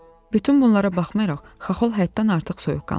Bütün bunlara baxmayaraq, Xaxol həddən artıq soyuqqanlı idi.